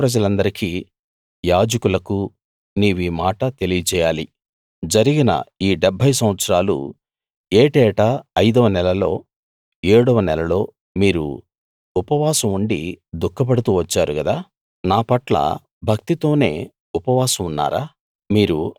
దేశప్రజలందరికీ యాజకులకు నీవీ మాట తెలియజేయాలి జరిగిన ఈ డెబ్భై సంవత్సరాలు ఏటేటా ఐదవ నెలలో ఏడవ నెలలో మీరు ఉపవాసం ఉండి దుఃఖపడుతూ వచ్చారుగదా నా పట్ల భక్తితోనే ఉపవాసం ఉన్నారా